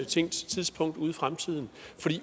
tænkt tidspunkt ude i fremtiden